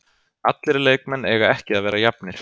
Allir leikmenn eiga ekki að vera jafnir.